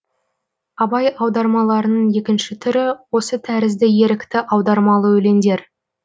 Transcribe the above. абай аудармаларының екінші түрі осы тәрізді ерікті аудармалы өлеңдер